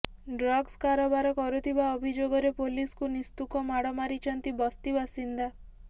drugs କାରବାର କରୁଥିବା ଅଭିଯୋଗରେ ପୋଲିସକୁ ନିସ୍ତୁକ ମାଡ ମାରିଛନ୍ତି ବସ୍ତି ବାସିନ୍ଦା